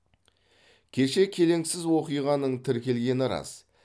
кеше келеңсіз оқиғаның тіркелгені рас